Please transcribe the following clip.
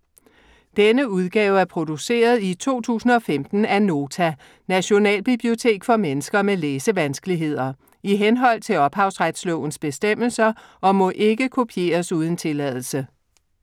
Denne udgave er produceret i 2015 af Nota - Nationalbibliotek for mennesker med læsevanskeligheder, i henhold til ophavsrettes bestemmelser, og må ikke kopieres uden tilladelse.